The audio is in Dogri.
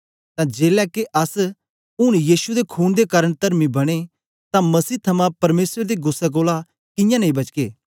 तां जेलै के अस ऊन यीशु दे खून दे कारन तरमी बने तां मसीह थमां परमेसर दे गुस्सै कोलां कियां नेई बचगे